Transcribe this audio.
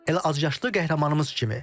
Elə azyaşlı qəhrəmanımız kimi.